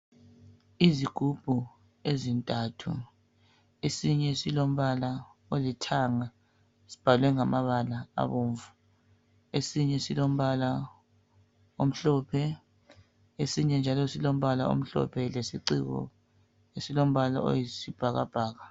Izigubhu ezintathu esinye silombala olithanga esinye sibhalwe ngamabala abomvu. Esinye silombala omhlophe, esinye njalo silombala omhlophe lesiciko esilombala oyisibhakabhaka.